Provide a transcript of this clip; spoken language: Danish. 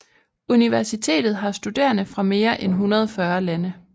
Universitet har studerende fra mere end 140 lande